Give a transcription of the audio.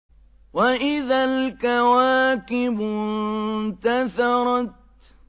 وَإِذَا الْكَوَاكِبُ انتَثَرَتْ